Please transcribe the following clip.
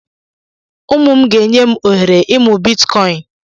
Nna m ga-enye m oghere ịmụ̀ Bịtkọin